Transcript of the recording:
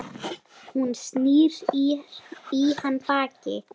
Hún snýr í hann baki.